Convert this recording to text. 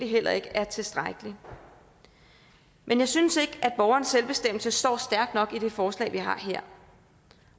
heller ikke er tilstrækkelig men jeg synes ikke at borgerens selvbestemmelse står stærkt nok i det forslag vi har her